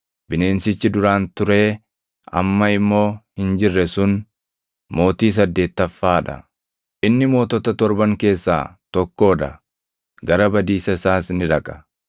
Bineensichi duraan turee amma immoo hin jirre sun mootii saddeettaffaa dha. Inni mootota torban keessaa tokkoo dha; gara badiisa isaas ni dhaqa.